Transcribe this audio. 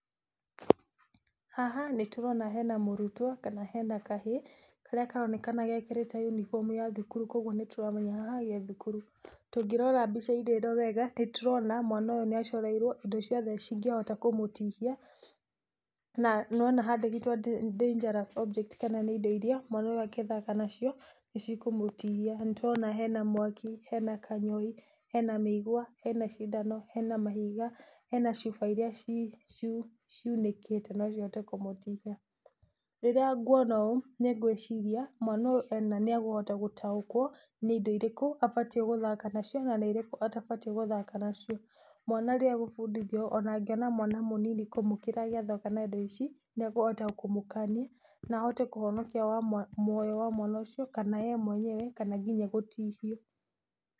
Haha nĩ tũrona hena mũrutwo kana hena kahĩĩ karĩa karoneka gekĩrĩte uniform ya thukuru, kwoguo nĩ tũramenya haha ge thukuru, ũngĩrora mbica-inĩ ĩno wega nĩ tũrona mwana ũyũ nĩ acoreirwo indo ciothe ingĩhota kũmũtihia na nĩ wona handĩkĩtwo dangerous objects kana nĩ indo iria mwana ũyũ angĩthaka nacio nĩ ikũmũtihia nĩ tũrona hena, mwaki, hena kanyoi, hena mĩigwa, hena cindano, hena mahiga, hena chuba iria ciunĩkĩte no cihote kũmũtihia. Rĩrĩa ngwona ũũ nĩ ngwĩciria mwena ũyũ nĩ akũhota gũtaũkwo nĩ indo irĩkũ abatie gũthaka nacio na nĩ indo irĩkũ atabatie gũthaka nacio, mwana rĩrĩa agũbundithio ona angĩona mwana mũnini kũmũkĩra agĩthaka na indo ici nĩ akũhota kũmũkania na ahote kũhonokia mũoyo wa mwana ũcio kana we mwenyewe kana nginya gũtihangio.